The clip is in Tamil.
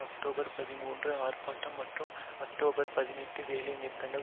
அக்டோபர் பதிமூன்று ஆர்ப்பாட்டம் மற்றும் அக்டோபர் பதினெட்டு வேலைநிறுத்தங்களில்